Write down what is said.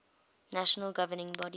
national governing body